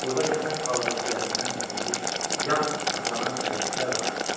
Burda köpək balığı ciyərindən çəkilmiş yağ saxlanan çəlləklər vardı.